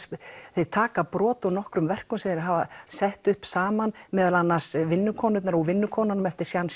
þeir taka brot úr nokkrum verkum sem þeir hafa sett upp saman meðal annars vinnukonurnar vinnukonurnar